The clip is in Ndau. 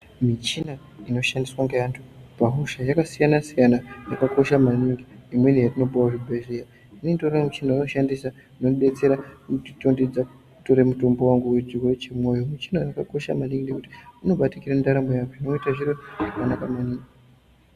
Muchina ino shandiswa nge antu pa hosha yaka siyana siyana yaka kosha maningi imweni yatino puhwa mu zvibhedhlera itori nema opusheni auno shandisa inoku betsere nekuti tondedza kutoro mutombu wangu michina uyu waka kosha maningi nekuti uno batikira ndaramo ye antu unoite zviro zvanaka maningi.